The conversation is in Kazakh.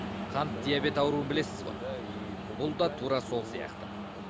қант диабеті ауруын білесіз ғой бұл да тура сол сияқты